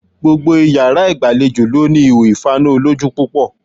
Gbogbo iyàrá ìgbàlejò ló ní ihò ìfaná olójú púpọ̀